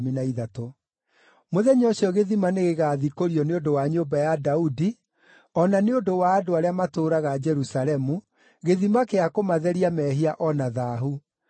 “Mũthenya ũcio gĩthima nĩgĩgathikũrio nĩ ũndũ wa nyũmba ya Daudi o na nĩ ũndũ wa andũ arĩa matũũraga Jerusalemu, gĩthima gĩa kũmatheria mehia o na thaahu.”